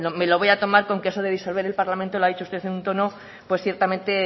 hombre me lo voy a tomar con que eso de disolver el parlamento lo ha dicho usted en un tono ciertamente